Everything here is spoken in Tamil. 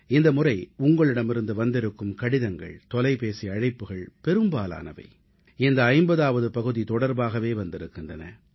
இந்த முறை உங்களிடமிருந்து வந்திருக்கும் கடிதங்கள் தொலைபேசி அழைப்புகள் பெரும்பாலானவை இந்த 50ஆவது பகுதி தொடர்பாகவே வந்திருக்கின்றன